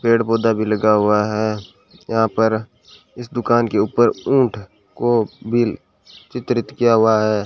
पेड़ पौधा भी लगा हुआ है यहां पर इस दुकान के ऊपर ऊंट को भी चित्रित किया हुआ है।